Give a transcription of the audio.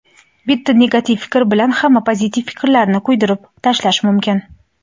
Bitta negativ fikr bilan hamma pozitiv fikrlarni kuydirib tashlash mumkin.